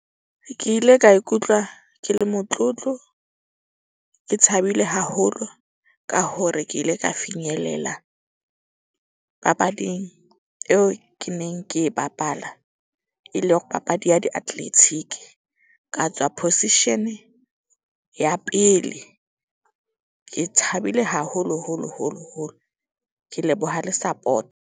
Ke ile ka ikutlwa ke le motlotlo. Ke thabile haholo ka hore ke ile ka finyelela papading eo ke neng ke e bapala. E le hore papadi ya diatletiki ka tswa position ya pele. Ke thabile haholo holo holo holo. Ke leboha le .